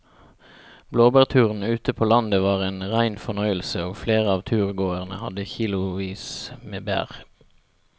Blåbærturen ute på landet var en rein fornøyelse og flere av turgåerene hadde kilosvis med bær.